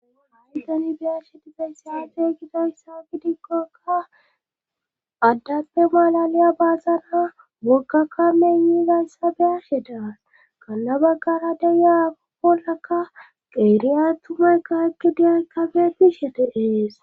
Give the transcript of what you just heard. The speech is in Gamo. Ha'i tani beyashetizayssyaate gidayssa gidikkoka addappe malaliya baazana woggakka meni gaysa beyashe daan gala baggara deyaakoppolaka qeeriya tumaykka ekkidiyay kabee betishe de'es